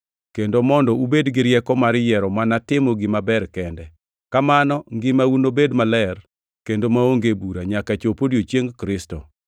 kendo mondo ubed gi rieko mar yiero mana timo gima ber kende. Kamano ngimau nobed maler kendo maonge bura, nyaka chop odiechieng Kristo.